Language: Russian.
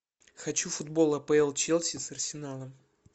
хочу футбол апл челси с арсеналом